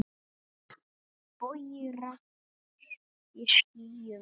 Bogi regns í skýjum er.